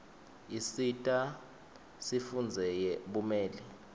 issita sifundzeye bumeli